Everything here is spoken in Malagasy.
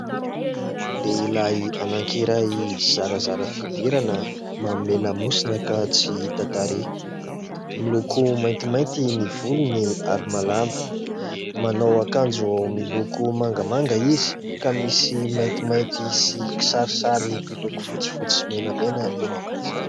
Lehilahy anankiray zarazara fihodirana manome lamosina ka tsy hita tarehy. Miloko maintimainty ny volony ary malama. Manao akanjo miloko mangamanga izy ka misy maintimainty sy kisarisary miloko fotsifotsy sy menamena eo amin'izany.